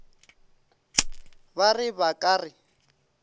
ba re ba ka re